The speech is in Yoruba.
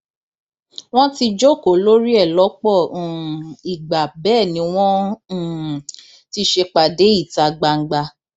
wọn ti jókòó lórí ẹ lọpọ um ìgbà bẹẹ ni wọn um ti ṣèpàdé ìta gbangba